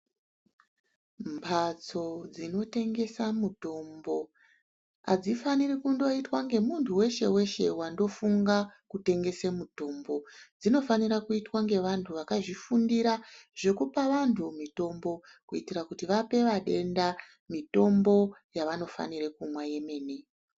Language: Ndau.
Mbatso dzinotengesa mutombo hadzifaniri kundoitwa ngemuntu weshe-weshe wandofunga kutengese mutombo. Dzinofanira kuitwa ngevantu vakazvifundira zvekupa vantu mitombo. Kuitira kuti vape vadenda mitombo yavanofanira kumwa yemene.